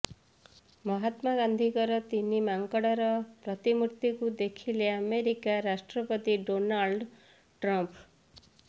ମହାତ୍ମା ଗାନ୍ଧୀଙ୍କ ତିନି ମାଙ୍କଡର ପ୍ରତିମୂର୍ତ୍ତିକୁ ଦେଖିଲେ ଆମେରିକା ରାଷ୍ଟ୍ରପତି ଡୋନାଲ୍ଡ ଟ୍ରମ୍ପ